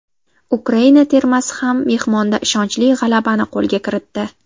Ukraina termasi ham mehmonda ishonchli g‘alabani qo‘lga kiritdi.